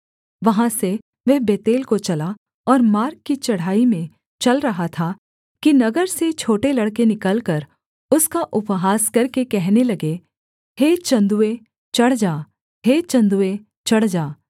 वहाँ से वह बेतेल को चला और मार्ग की चढ़ाई में चल रहा था कि नगर से छोटे लड़के निकलकर उसका उपहास करके कहने लगे हे चन्दुए चढ़ जा हे चन्दुए चढ़ जा